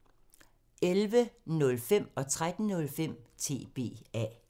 11:05: TBA 13:05: TBA